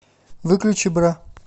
выключи бра